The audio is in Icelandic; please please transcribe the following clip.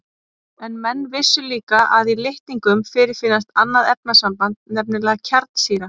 En menn vissu líka að í litningum fyrirfinnst annað efnasamband, nefnilega kjarnsýra.